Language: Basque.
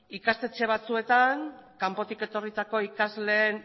ikastetxe batzuetan kanpotik etorritako ikasleen